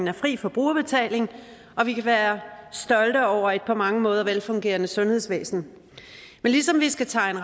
er fri for brugerbetaling og vi kan være stolte over et på mange måder velfungerende sundhedsvæsen men ligesom vi skal tegne